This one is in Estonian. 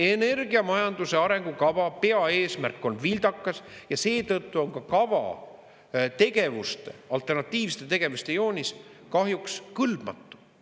Energiamajanduse arengukava peaeesmärk on vildakas ja seetõttu on ka kava tegevuste, alternatiivsete tegevuste joonis kahjuks kõlbmatu.